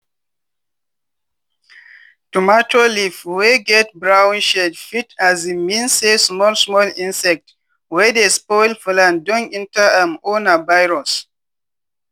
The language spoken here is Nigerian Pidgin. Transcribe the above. tomato leaf wey get brown shade fit um mean say small small insect wey dey spoil plant don enter am or na virus.